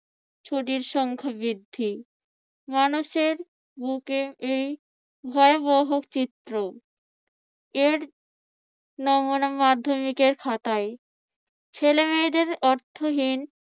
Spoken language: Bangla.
ছুটির সংখ্যা বৃদ্ধি। মানুষের বুকে এই ভয়াবহ চিত্র এর নমুনা মাধ্যমিকের খাতায় ছেলেমেয়েদের অর্থহীন